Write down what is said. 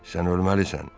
Sən ölməlisən.